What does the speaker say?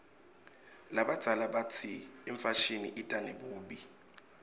labadzala batsi imfashini ita nebubi